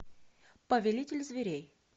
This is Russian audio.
повелитель зверей